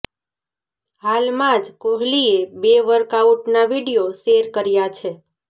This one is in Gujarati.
હાલમાં જ કોહલીએ બે વર્કઆઉટના વીડિયો શેર કર્યા છે